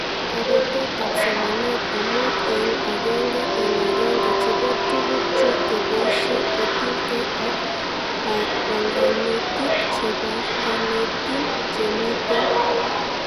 Kabetetab somanet amu eng agenge eng agenge chebo tuguk chu keboishe kotinke ak banganutik chebanganotin chemiten